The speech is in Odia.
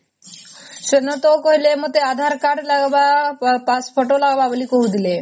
ସେଦିନ ତ କହିଲେ ମତେ aadhar card ଲାଗିବ pass photo ଲାଗିବ ବୋଲି କହୁଥିଲେ